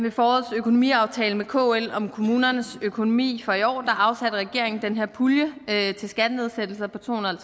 i forårets økonomiaftale med kl om kommunernes økonomi for i år afsatte regeringen den her pulje til skattenedsættelser på to hundrede og